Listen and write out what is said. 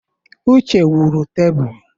Uche wuru tebụl.